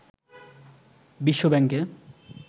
বিশ্ব ব্যাংকে